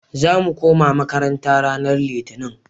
Za mu koma makaranta ranan Litinin.